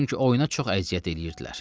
Çünki oyuna çox əziyyət eləyirdilər.